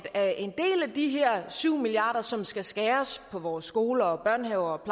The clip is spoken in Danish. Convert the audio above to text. af de her syv milliard kr som skal skæres på vores skoler børnehaver og